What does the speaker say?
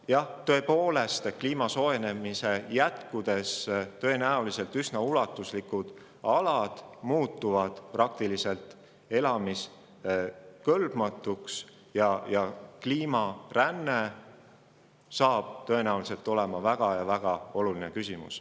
Jah, tõepoolest, kui kliima soojenemine jätkub, siis on tõenäoline, et üsna ulatuslikud alad muutuvad praktiliselt elamiskõlbmatuks ja kliimaränne saab tõenäoliselt olema väga oluline küsimus.